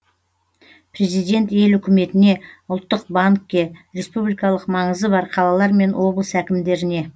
президент ел үкіметіне ұлттық банкке республикалық маңызы бар қалалар мен облыс әкімдеріне